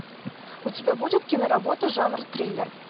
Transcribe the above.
у тебя будет киноработа жанр триллер